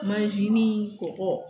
kɔgɔ